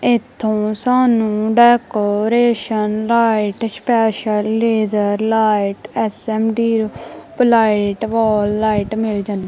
ਇੱਥੋਂ ਸਾਨੂੰ decoration light special laser light S M deep light wall light ਮਿੱਲ ਜਾਂਦੀ।